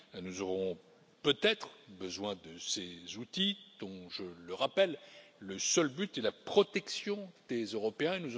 Nous aurons peut être besoin de ces outils dont, je le rappelle, le seul but est la protection des Européens.